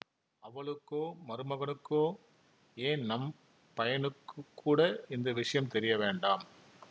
அவளுக்கோ மருமகனுக்கோ ஏன் நம் பையனுக்குக் கூட இந்த விஷயம் தெரிய வேண்டாம்